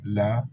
La